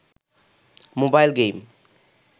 mobile game